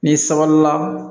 N'i sabalila